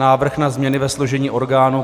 Návrh na změny ve složení orgánů